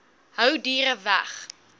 hou diere weg